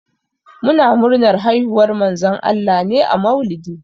Ana murnar haihuwar Manzon Allah ne a maulidi.